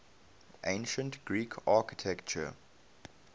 ancient greek architecture